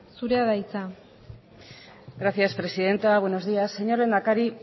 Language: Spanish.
zurea da hitza gracias presidenta buenos días señor lehendakari